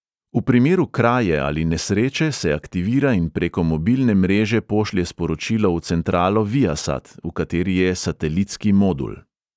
V primeru kraje ali nesreče se aktivira in preko mobilne mreže pošlje sporočilo v centralo viasat, v kateri je satelitski modul.